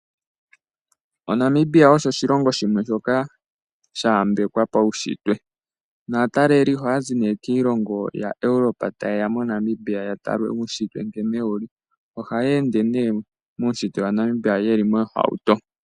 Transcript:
Namibia osho oshilongo shimwe shoka sha yambekwa paushitwe, naataleli ohaya zi ne kiilongo yaEurope tayeya moNamibia yatale uushitwe nkene wuli. Ohaya ende ne muushitwe wa Namibia yeli mohauto.